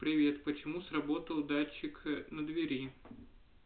привет почему сработал датчик на двери